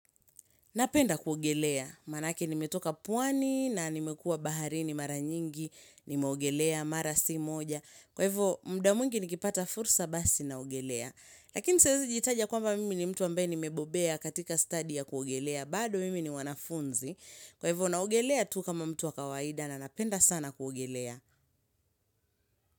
Napenda kuogelea. Manake nimetoka pwani na nimekua baharini mara nyingi, nimeogelea, mara si moja. Kwa hivyo, muda mwingi nikipata fursa basi naogelea. Lakini siezi jitaja kwamba mimi ni mtu ambaye nimebobea katika studi ya kuogelea. Bado mimi ni mwanafunzi. Kwa hivyo, naogelea tu kama mtu wa kawaida na napenda sana kuogelea.